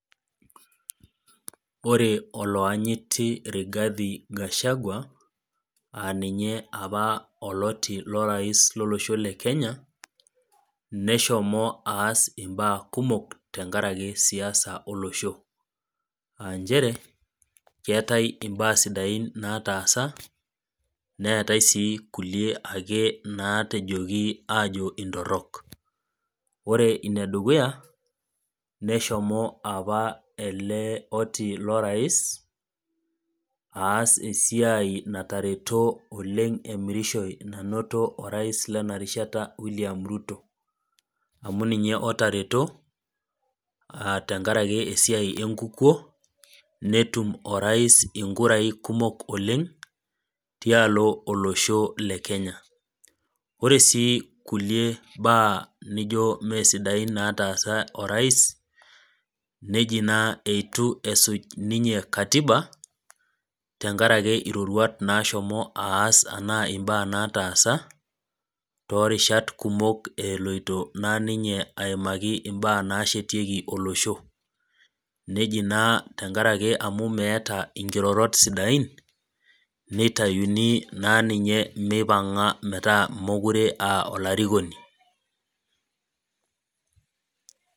Ore oloanyiti Rigathi Gashagua aa ninye opa oloti lorais lolosho le Kenya, neshomo aas imbaa kumok tenkaraki siasa olosho. Aa nchere keatai imbaa sidain nataasa, neatai ake kulie naatejoki aajo intorok. Ore ine dukuya, neshomo apa ele oti lorais aas esiai natareto oleng' emirishoi nainoto orais lena rishata William Ruto. Amu ninye otareto, tenkaraki esiai enkukuo, netum orais inkurai kumok oleng' tialo olosho le Kenya. Ore sii kulie baa naijo mee sidain nataasa orais neji naa eitu esuj ninye katiba, tenkaraki iropruat naashomo aas anaa imbaa nataasa, toorishat kumok eloito naa ninye aimaki imbaa naashetieki olosho, neji naa tenkaraki meata inkirorot sidain, neitayuni naa ninye meipang'a aa mekure aa olarikoni.